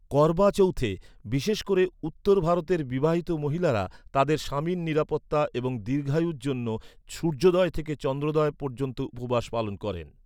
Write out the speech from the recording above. করবা চৌথে বিশেষ করে উত্তর ভারতের বিবাহিত মহিলারা তাঁদের স্বামীর নিরাপত্তা এবং দীর্ঘায়ুর জন্য সূর্যোদয় থেকে চন্দ্রোদয় পর্যন্ত উপবাস পালন করেন।